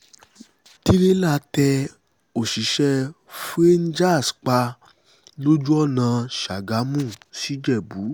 tìrẹ̀là tẹ òṣìṣẹ́ frangers pa lójú ọ̀nà sàgámù sìjẹ̀bù